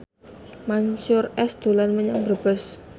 Mansyur S dolan menyang Brebes